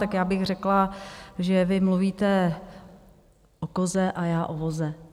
Tak já bych řekla, že vy mluvíte o koze a já o voze.